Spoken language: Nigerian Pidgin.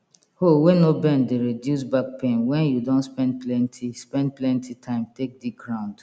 hoe wey no bend de reduce back pain wen you don spend plenty spend plenty time take dig ground